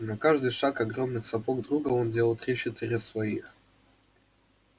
на каждый шаг огромных сапог друга он делал три-четыре своих